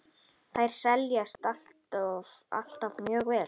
Þær seljast alltaf mjög vel.